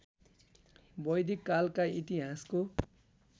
वैदिक कालका इतिहासको